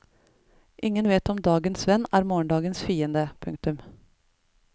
Ingen vet om dagens venn er morgendagens fiende. punktum